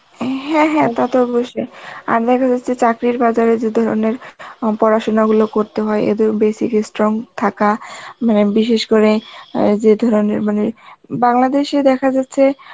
হ্যাঁ হ্যাঁ তা তো অবশ্যই আর দেখা যাচ্ছে চাকরির বাজারে যে ধরনের অ্যাঁ পড়াশোনাগুলো করতে হয় এদের basic strong থাকা, মানে বিশেষ করে ওই যে ধরনের মানে, বাংলাদেশ এ দেখা যাচ্ছে